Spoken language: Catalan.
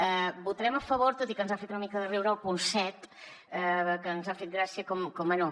hi votarem a favor tot i que ens ha fet una mica de riure el punt set que ens ha fet gràcia com bé